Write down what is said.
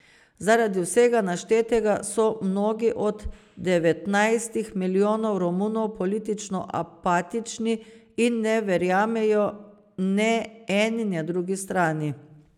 Zaradi vsega naštetega so mnogi od devetnajstih milijonov Romunov politično apatični in ne verjamejo ne eni ne drugi strani.